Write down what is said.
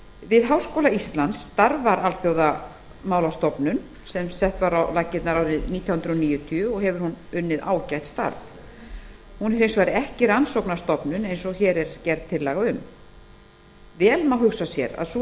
við háskóla íslands starfar alþjóðamálastofnun sem sett var á laggirnar árið nítján hundruð níutíu og hefur hún unnið ágætt starf hún er hins vegar ekki rannsóknarstofnun eins og hér er gerð tillaga um vel má hugsa sér að sú